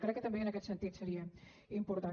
crec que també en aquest sentit seria important